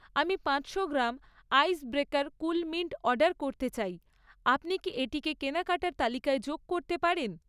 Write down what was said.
আমি পাঁচশো gram ice breaker cool mint order করতে চাই, আপনি কি এটিকে কেনাকাটার তালিকায় যোগ করতে পারেন?